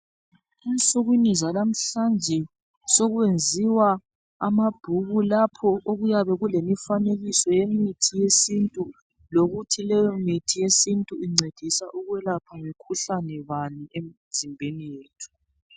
Ensukwini zalamhlanje sokwenziwa amabhuku lapho okuyabe kulemifanekiso yemithi yesintu lokuthi leyo mithi yesintu incedisa ukwelaphani emzimbeni yethu.